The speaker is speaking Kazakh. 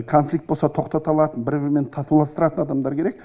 конфликт болса тоқтата алатын бір бірімен татуластыратын адамдар керек